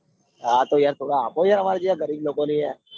આ તો યાર થોડા આપો યાર અમરા જેવા ગરીબ લોકો ને યાર